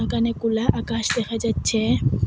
একানে কোনায় আকাশ দেখা যাচ্ছে।